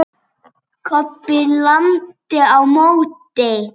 Kobbi lamdi á móti.